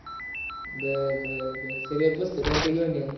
बर बर बर सगळं पुस्तक आणि ते घेऊन ये.